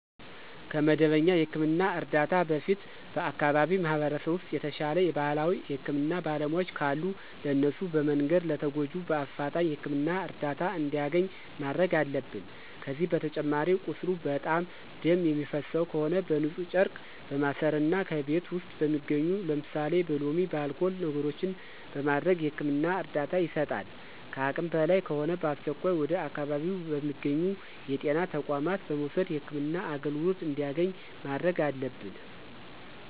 ከመደበኛ የህክምና እርዳታ በፊት በአከባቢው ማህበረሰብ ውስጥ የተሻለ የባህላዊ የህክምና ባለሙያዎች ካሉ ለእነሱ በመንገር ለተጎጁ በአፍጣኝ የህክምና እርዳታ እንዲያገኝ ማድረግ አለብን። ከዚህ በተጨማሪ ቁስሉ በጣም ደም የሚፈሰው ከሆነ በንፁህ ጨርቅ በማሰር እና ከቤት ውስጥ በሚገኙ ለምሳሌ በሎሚ፣ በአልኮል ነገሮችን በማድረግ የህክምና እርዳታ ይሰጣል። ከአቅም በላይ ከሆነ በአስቸኳይ ወደ አካባቢው በሚገኙ የጤና ተቋማት በመውሰድ የህክምና አገልግሎት እንዲያገኝ ማድረግ አለብን።